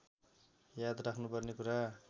याद राख्नुपर्ने कुरा